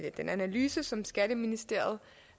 den analyse som skatteministeriet